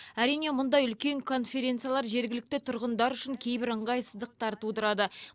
әрине мұндай үлкен конференциялар жергілікті тұрғындар үшін кейбір ыңғайсыздықтар тудырады